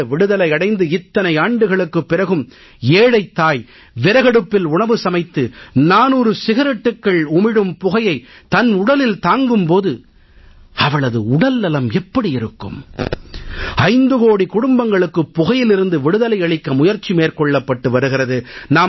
நாடு விடுதலை அடைந்து இத்தனை ஆண்டுகளுக்குப் பிறகும் ஏழைத் தாய் விறகடுப்பில் உணவு சமைத்து 400 சிகரெட்டுக்கள் உமிழும் புகையைத் தன் உடலில் தாங்கும் போது அவளது உடல்நலம் எப்படி இருக்கும் 5 கோடி குடும்பங்களுக்கு புகையிலிருந்து விடுதலை அளிக்க முயற்சி மேற்கொள்ளப்பட்டு வருகிறது